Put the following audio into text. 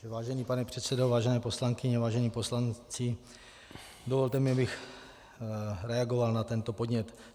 Vážený pane předsedo, vážené poslankyně, vážení poslanci, dovolte mi, abych reagoval na tento podnět.